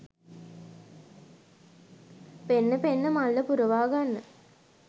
පෙන්න පෙන්න මල්ල පුරවා ගන්න.